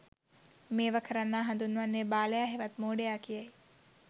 මේවා කරන්නා හඳුන්වන්නේ බාලයා හෙවත් මෝඩයා කියායි.